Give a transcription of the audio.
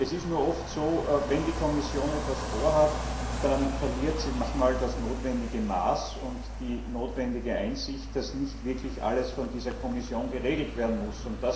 Es ist nur oft so, wenn die Kommission etwas vorhat, dann verliert sie manchmal das notwendige Maß und die notwendige Einsicht, dass nicht wirklich alles von der Kommission geregelt werden muss.